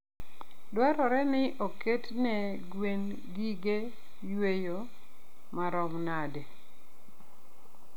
dwarore ni oketne gwen gige yueyo marom nade?